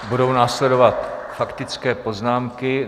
Budou následovat faktické poznámky.